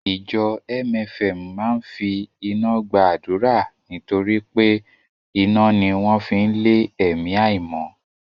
Ìjọ MFM máa ń fi iná gba àdúrà nítorí pé iná ni wọ́n fi ń lé ẹ̀mí àìmọ́